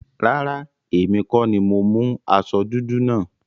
Rárá, èmi kọ́ni mo mú aṣọ dúdú náà.